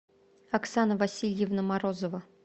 оксана васильевна морозова